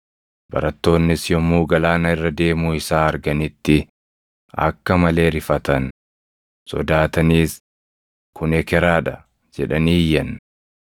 Barattoonnis yommuu galaana irra deemuu isaa arganitti akka malee rifatan. Sodaataniis, “Kun ekeraa dha” jedhanii iyyan.